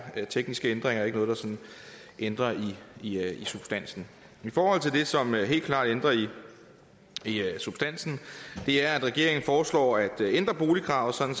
tekniske ændringer og ikke noget der sådan ændrer i substansen det som helt klart ændrer i substansen er at regeringen foreslår at ændre boligkravet sådan